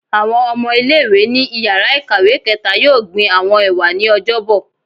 Awọn ọmọ ile-iwe ni íyarà ikáwe kẹta yọọ gbín awọn ewa ni Ọjọbọ